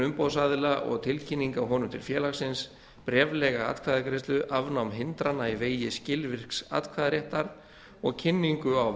umboðsaðila og tilkynning á honum til félagsins bréflega atkvæðagreiðslu afnám hindrana í vegi skilvirks atkvæðisréttar og kynningu á